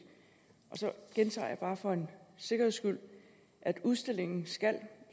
så gentager jeg bare for en sikkerheds skyld at udstillingen skal